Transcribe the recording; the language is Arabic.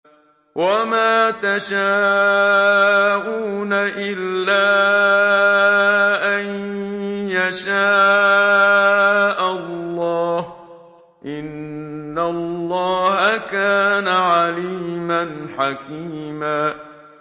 وَمَا تَشَاءُونَ إِلَّا أَن يَشَاءَ اللَّهُ ۚ إِنَّ اللَّهَ كَانَ عَلِيمًا حَكِيمًا